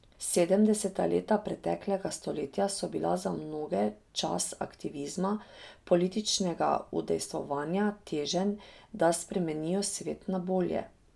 Sedemdeseta leta preteklega stoletja so bila za mnoge čas aktivizma, političnega udejstvovanja, teženj, da spremenijo svet na bolje.